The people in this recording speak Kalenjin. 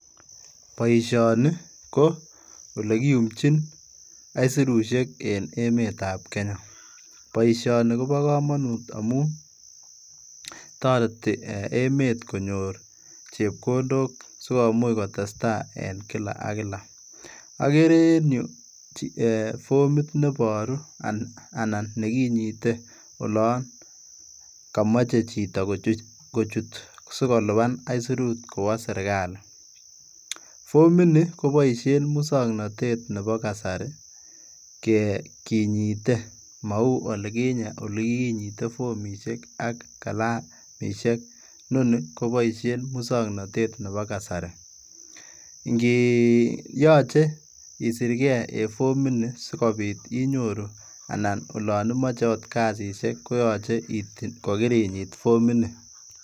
Boisioni koo ole kiumchin aisirusiek en emetab Kenya, boisioni kobo komonut amun toreti emet konyor chepkondok sikomuch kotestaa en kilak ak kilak ,okere en yu fomit neboru anan nekinyite olon komoche chito kochut sikoliban aisirut kowo sirkali ,fomini koboisien musoknotet nebo kasari kinyitee mou ole kinyee oli kikinyitee fomisiek ak kalamisiek inoni koboisien musoknotet nebo kasari ,yoche isirkee en fomini sikobit inyoru anan olo imoche oot kasisiek koyoche kokirinyit fomini.